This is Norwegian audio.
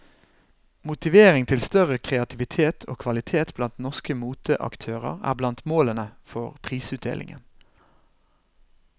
Motivering til større kreativitet og kvalitet blant norske moteaktører er blant målene for prisutdelingen.